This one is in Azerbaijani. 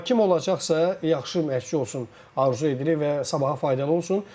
Amma kim olacaqsa, yaxşı məşqçi olsun arzu edilir və sabaha faydalı olsun.